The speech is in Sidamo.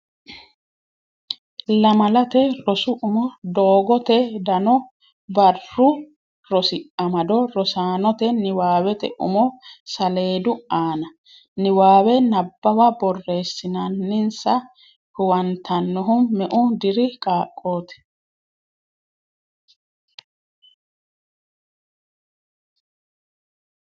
Lamalate Rosi Umo Doogote Dano Barru Rosi Amado Rosaanote niwaawete umo saleedu aana • Niwaawe Nabbawa borreessinsa huwantanohu me'u diiri qaaqqoti?